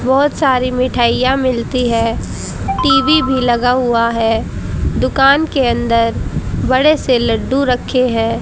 बहुत सारी मिठाइयां मिलती है टी_वी भी लगा हुआ है दुकान के अंदर बड़े से लड्डू रखे हैं।